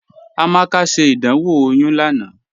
Amaka ṣẹ́ ìdánwò oyún lánà